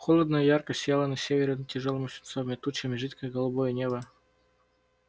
холодно и ярко сияло на севере над тяжёлыми свинцовыми тучами жидкое голубое небо